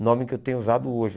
O nome que eu tenho usado hoje.